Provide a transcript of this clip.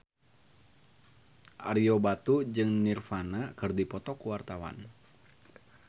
Ario Batu jeung Nirvana keur dipoto ku wartawan